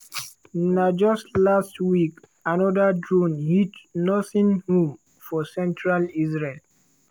na just last week anoda drone hit nursing home for central israel.